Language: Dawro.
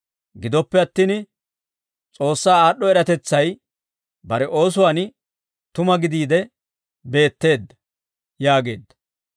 Gidoppe attin S'oossaa aad'd'o eratetsay bare oosuwaan tuma gidiide beetteedda» yaageedda.